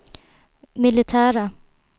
militära